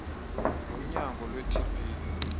wonyango lwe tb